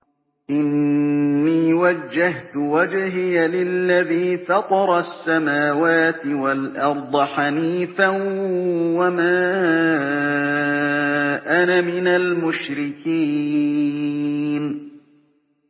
إِنِّي وَجَّهْتُ وَجْهِيَ لِلَّذِي فَطَرَ السَّمَاوَاتِ وَالْأَرْضَ حَنِيفًا ۖ وَمَا أَنَا مِنَ الْمُشْرِكِينَ